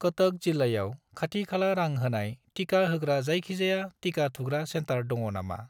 कटक जिल्लायाव खाथि खाला रां होनाय टिका होग्रा जायखिजाया टिका थुग्रा सेन्टार दङ नामा?